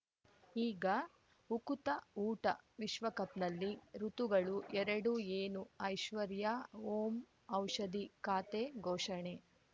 ಈಗ ಉಕುತ ಊಟ ವಿಶ್ವಕಪ್‌ನಲ್ಲಿ ಋತುಗಳು ಎರಡು ಏನು ಐಶ್ವರ್ಯಾ ಓಂ ಔಷಧಿ ಖಾತೆ ಘೋಷಣೆ